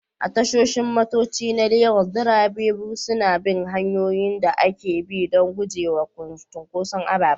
A tashoshin motoci na Legas, direbobi suna bin hanyoyin da ake bi don gujewa cunkoson ababen hawa.